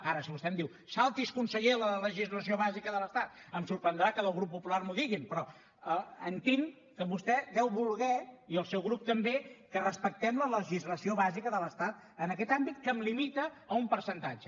ara si vostè em diu salti’s conseller la legislació bàsica de l’estat em sorprendrà que des del grup popular m’ho diguin però entenc que vostè deu voler i el seu grup també que respectem la legislació bàsica de l’estat en aquest àmbit que em limita a un percentatge